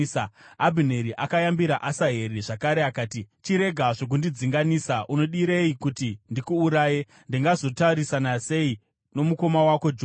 Abhineri akayambira Asaheri zvakare akati, “Chirega zvokundidzinganisa! Unodirei kuti ndikuuraye? Ndingazotarisana sei nomukoma wako Joabhu?”